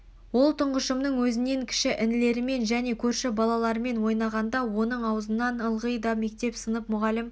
ол тұңғышының өзнен кіші інілерімен және көрші балалармен ойнағанда оның аузынан ылғи да мектеп сынып мұғалім